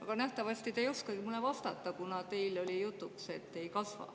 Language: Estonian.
Aga nähtavasti te ei oskagi mulle vastata, kuna teil oli jutuks, et ei kasva.